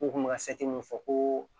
U kun bɛ ka min fɔ ko